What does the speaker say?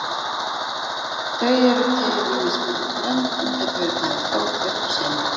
Þau eru til í mismunandi blöndum og geta verið bæði fljótvirk og seinvirk.